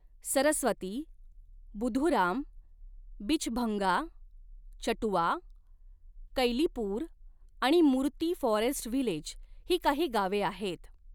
सरस्वती, बुधुराम, बिचभंगा, चटुआ, कैलीपूर आणि Murti forest village ही काही गावे आहेत.